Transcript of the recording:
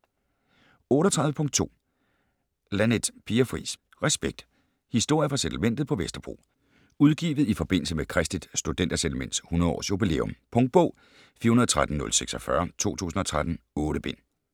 38.2 Laneth, Pia Fris: Respekt: historier fra Settlementet på Vesterbro Udgivet i forbindelse med Kristeligt Studenter Settlements 100 års jubilæum. Punktbog 413046 2013. 8 bind.